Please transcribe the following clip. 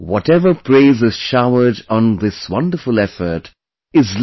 Whatever praise is showered on this wonderful effort is little